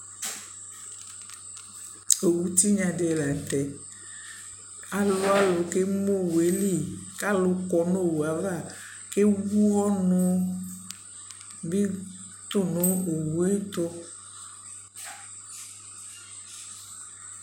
Owu tinya di la nʋ tɛɛ Alʋalʋ kemu owue lι ku alu kɔ nʋ owu yɛ ava kewu ɔnʋ bι tʋ nʋ owu yɛ tʋ